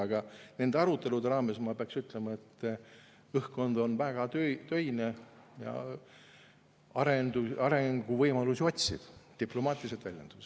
Aga nende arutelude raames, ma peaksin ütlema, on õhkkond väga töine ja arenguvõimalusi otsiv, diplomaatiliselt väljendudes.